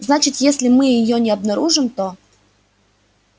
значит если мы её не обнаружим то